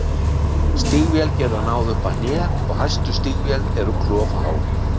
Stígvél geta náð upp að hné og hæstu stígvél eru klofhá.